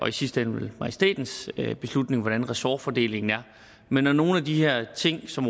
i sidste ende vel majestætens beslutning hvordan ressortfordelingen er men når nogle af de her ting som